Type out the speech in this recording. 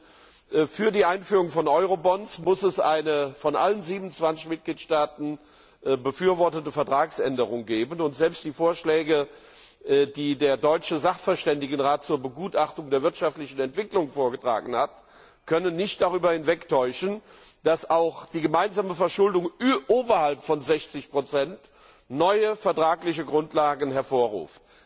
Denn für die Einführung von Eurobonds muss es eine von allen 27 Mitgliedstaaten befürwortete Vertragsänderung geben. Selbst die Vorschläge, die der deutsche Sachverständigenrat zur Begutachtung der wirtschaftlichen Entwicklung vorgetragen hat, können nicht darüber hinwegtäuschen, dass auch die gemeinsame Verschuldung oberhalb von 60 neue vertragliche Grundlagen erfordert.